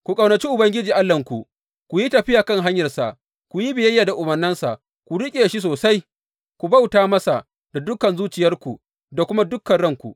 Ku ƙaunaci Ubangiji Allahnku, ku yi tafiya kan hanyarsa, ku yi biyayya da umarnansa, ku riƙe shi sosai, ku bauta masa da dukan zuciyarku da kuma dukan ranku.